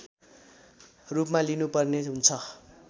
रूपमा लिनुपर्ने हुन्छ